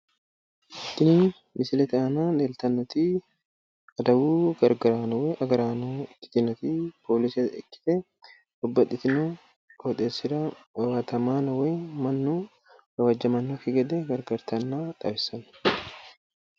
tini misilete aana leeltannoti adawu gargaraano woy agaraano ikkiteyooti poolise ikkite babbaxxino qoxeessira owatamaano woy mannua gawajamannoki gede gargartanno